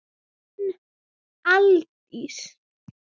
Þín, Aldís.